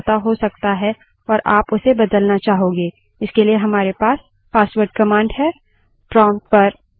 कई दफा आपके login password में समझौता हो सकता है और आप उसे बदलना चाहोगे